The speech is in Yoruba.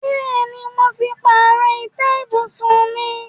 Bẹ́ẹ̀ni, mo ti pààrọ̀ ìtẹ́ ibùsùn náà.